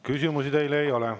Küsimusi teile ei ole.